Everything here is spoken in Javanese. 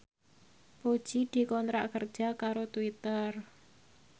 Puji dikontrak kerja karo Twitter